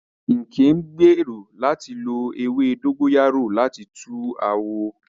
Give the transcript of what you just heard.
Nkem ń gbèrò láti lo ewé dógóyárò láti tu àwọ̀